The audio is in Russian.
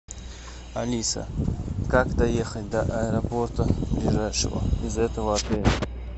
алиса как доехать до аэропорта ближайшего из этого отеля